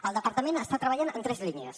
el departament està treballant en tres línies